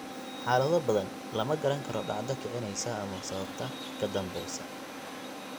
Xaalado badan, lama garan karo dhacdo kicinaysa ama sababta ka dambaysa.